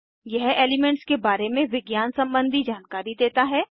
यह एलीमेन्ट्स के बारे में विज्ञान सम्बन्धी जानकारी देता है